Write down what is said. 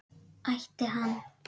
Ætti hann?